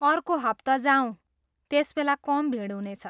अर्को हप्ता जाऔँ, त्यसबेला कम भिड हुनेछ।